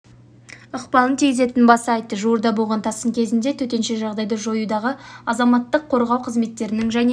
ықпалын тигізетінін баса айтты жуырда болған тасқын кезіндегі төтенше жағдайды жоюдағы азаматтық қорғау қызметтерінің және